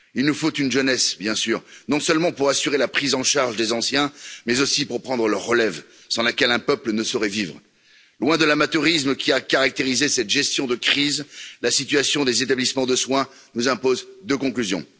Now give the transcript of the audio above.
Il nous faut une jeunesse, bien sûr, non seulement pour assurer la prise en charge des anciens mais aussi pour prendre leur relève, sans laquelle un peuple ne saurait vivre. Loin de l'amateurisme qui a caractérisé cette gestion de crise, la situation des établissements de soins, nous impose deux conclusions.